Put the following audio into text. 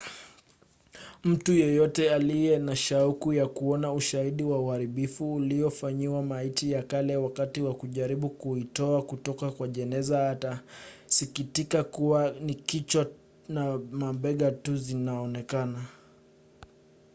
mtu yeyote aliye na shauku ya kuona ushahidi wa uharibifu uliofanyiwa maiti ya kale wakati wa kujaribu kuitoa kutoka kwa jeneza atasikitika kuwa ni kichwa na mabega tu zinazoonekana